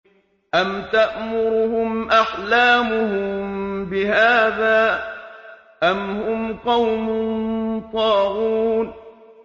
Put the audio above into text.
أَمْ تَأْمُرُهُمْ أَحْلَامُهُم بِهَٰذَا ۚ أَمْ هُمْ قَوْمٌ طَاغُونَ